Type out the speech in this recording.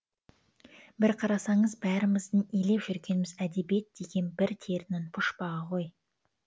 бір қарасаңыз бәріміздің илеп жүргеніміз әдебиет деген бір терінің пұшпағы ғой